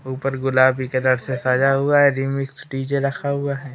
ऊपर गुलाबी कलर से सजा हुआ है रीमिक्स डी_जे रखा हुआ है।